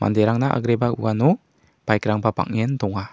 manderangna agreba uano bike-rangba bang·en donga.